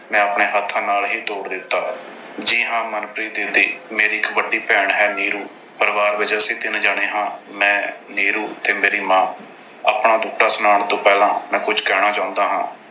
ਮੈਂ ਆਪਣੇ ਹੱਥਾਂ ਨਾਲ ਹੀ ਤੋੜ ਦਿੱਤਾ। ਜੀ ਹਾਂ ਮਨਪ੍ਰੀਤ ਦੀਦੀ, ਮੇਰੀ ਇੱਕ ਵੱਡੀ ਭੈਣ ਹੈ ਨੀਰੂ। ਪਰਿਵਾਰ ਦੇ ਵਿੱਚ ਅਸੀਂ ਤਿੰਨ ਜਾਣੇ ਹਾਂ। ਮੈਂ, ਨੀਰੂ ਤੇ ਮੇਰੀ ਮਾਂ। ਆਪਣਾ ਦੁੱਖੜਾ ਸੁਣਾਉਣ ਤੋਂ ਪਹਿਲਾਂ ਮੈਂ ਕੁਝ ਕਹਿਣਾ ਚਾਹੁੰਦਾ ਹਾਂ।